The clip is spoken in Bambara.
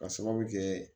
Ka sababu kɛ